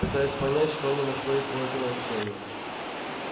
пытаюсь понять что они находят в этом общении